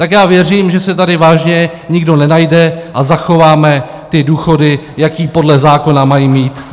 Tak já věřím, že se tady vážně nikdo nenajde a zachováme ty důchody, jaké podle zákona mají mít.